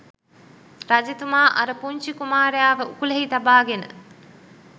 රජතුමා අර පුංචි කුමාරයාව උකුලෙහි තබාගෙන